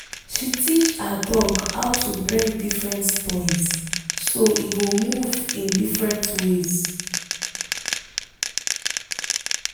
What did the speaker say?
she teach her dog how to bring different toys so e go move in different ways